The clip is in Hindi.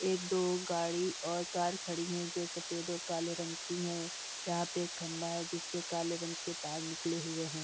एक दो गाड़ी और कार खड़ी है जो सफेद और काला रंग की है यहाँ एक खंभा है जिसमें से काले रंग के तार निकले हुए हैं|